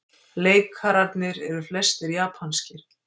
Leikararnir eru flestir japanskir